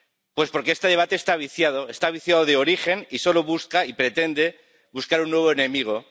Pues porque este debate está viciado, está viciado de origen y solo busca y pretende buscar un nuevo enemigo.